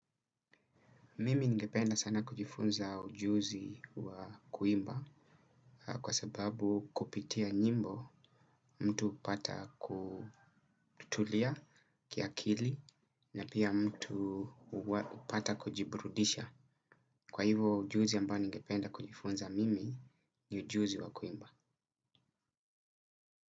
Mimi ningependa sana kujifunza ujuzi wa kuimba kwa sababu kupitia nyimbo mtu hupata kutulia kiakili na pia mtu upata kujiburudisha. Kwa hivo ujuzi ambao ningependa kujifunza mimi ni ujuzi wa kuimba.